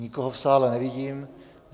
Nikoho v sále nevidím.